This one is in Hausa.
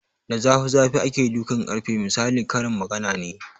Da zafi zafi ake dukan ƙarfe misalin karin magana ne